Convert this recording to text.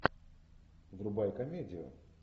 врубай комедию